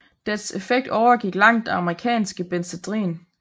Dets effekt overgik langt det amerikanske benzedrin